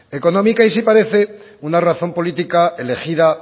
económica y sí parece una razón política elegida